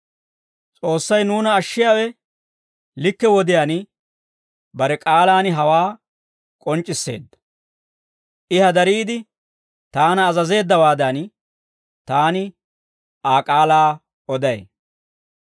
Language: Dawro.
S'oossay nuuna ashshiyaawe likke wodiyaan bare k'aalaan hawaa k'onc'c'isseedda; I hadariide taana azazeeddawaadan, taani Aa k'aalaa oday.